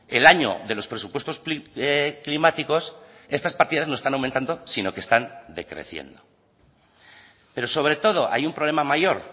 el año de los presupuestos climáticos estas partidas no están aumentando sino que están decreciendo pero sobre todo hay un problema mayor